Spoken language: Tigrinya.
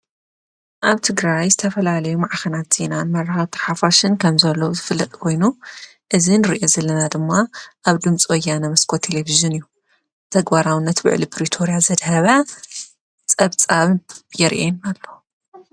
ኣብቲ ግራይ ዝተፈላለዩ መዓኸናት ዚናን መራኻ ተሓፉሽን ከም ዘለዉ ዝፍልጥ ወይኑ እዝን ርእየ ዝለና ድማ ኣብ ድምጽወያ ነመስቆ ቴሌፍዝን እዩ ተግባራውነት ብዕሊ ብሪቶርያ ዘድሃብያ ጸብጻብርየን ኣሎ።